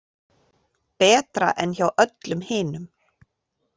Betra en hjá öllum hinum.